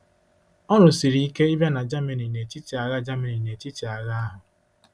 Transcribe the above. Ọrụ siri ike ịbịa na Germany n'etiti agha Germany n'etiti agha ahụ.